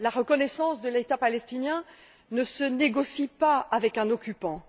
La reconnaissance de l'État palestinien ne se négocie pas avec un occupant.